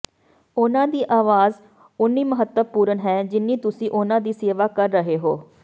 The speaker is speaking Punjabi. ਉਨ੍ਹਾਂ ਦੀ ਆਵਾਜ਼ ਉਨੀ ਮਹੱਤਵਪੂਰਣ ਹੈ ਜਿੰਨੀ ਤੁਸੀਂ ਉਨ੍ਹਾਂ ਦੀ ਸੇਵਾ ਕਰ ਰਹੇ ਹੋ